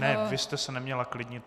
Ne, vy jste se neměla klidnit.